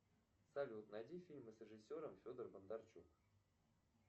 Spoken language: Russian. салют найди фильмы с режиссером федор бондарчук